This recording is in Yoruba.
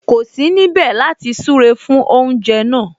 Kò sí níbẹ̀ láti súre fún oúnjẹ náà